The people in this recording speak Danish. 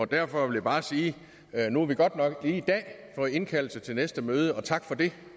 derfor vil jeg bare sige at nu har vi godt nok lige i dag fået indkaldelse til næste møde og tak for det